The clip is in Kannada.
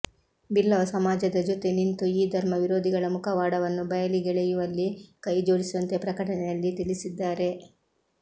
ಬಿಲ್ಲವ ಸಮಾಜದ ಜೊತೆ ನಿಂತು ಈ ಧರ್ಮ ವಿರೋಧಿಗಳ ಮುಖವಾಡವನ್ನು ಬಯಲಿಗೆಳೆಯುವಲ್ಲಿ ಕೈ ಜೋಡಿಸುವಂತೆ ಪ್ರಕಟನೆಯಲ್ಲಿ ತಿಳಿಸಿದ್ದಾರೆ